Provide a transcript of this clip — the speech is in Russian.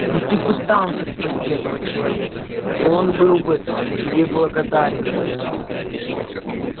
но ты пытался спасти этого человека и он был бы тебе благодарен за это